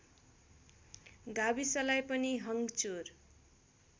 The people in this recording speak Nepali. गाविसलाई पनि हङ्चुर